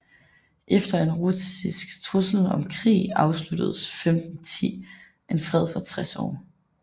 Efter en russisk trussel om krig afsluttedes 1510 en fred for 60 år